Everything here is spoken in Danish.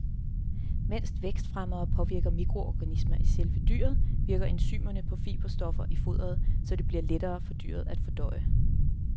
Mens vækstfremmere påvirker mikroorganismer i selve dyret, virker enzymerne på fiberstoffer i foderet, så det bliver lettere for dyret at fordøje.